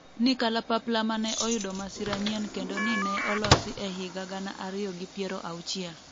ni kalapapla mane oyudo masira nyien' kendo ni ne olosi e higa gana ariyo gi piero auchiel